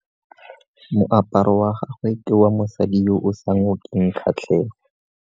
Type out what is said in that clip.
Moaparo wa gagwe ke wa mosadi yo o sa ngokeng kgatlhego